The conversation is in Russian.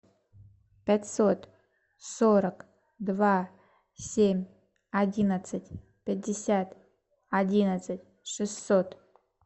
пятьсот сорок два семь одиннадцать пятьдесят одиннадцать шестьсот